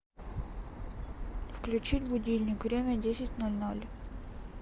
включить будильник время десять ноль ноль